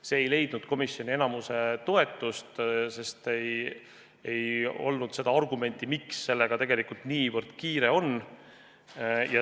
See ei leidnud komisjoni enamiku toetust, sest ei ole argumenti, miks sellega peaks nii kiire olema.